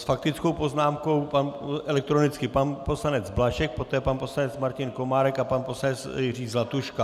S faktickou poznámkou elektronicky pan poslanec Blažek, poté pan poslanec Martin Komárek a pan poslanec Jiří Zlatuška.